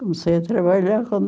Comecei a trabalhar com